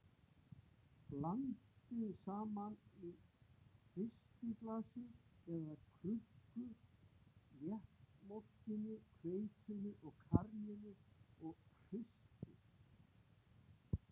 Blandið saman í hristiglasi eða krukku léttmjólkinni, hveitinu og karríinu og hristið.